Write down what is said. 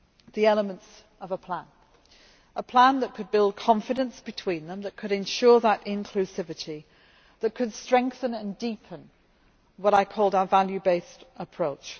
the elements of a plan a plan that could build confidence between them, that could ensure that inclusivity, that could strengthen and deepen what I called our value based approach.